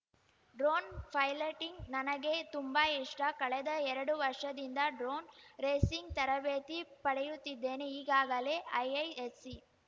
drone piloting ನನಗೆ ತುಂಬಾ ಇಷ್ಟ ಕಳೆದ ಎರಡು ವರ್ಷದಿಂದ ಡ್ರೋನ್‌ ರೇಸಿಂಗ್‌ ತರಬೇತಿ ಪಡೆಯುತ್ತಿದ್ದೇನೆ ಈಗಾಗಲೇ ಐಐಎಸ್ಸಿ